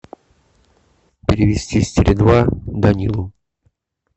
перевести с теле два данилу